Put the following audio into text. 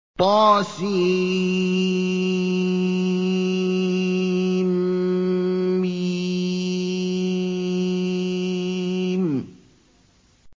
طسم